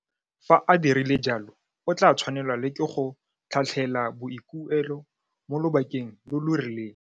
Fa a dirile jalo, o tla tshwanelwa le ke go tlhatlhela boikuelo mo lobakeng lo lo rileng.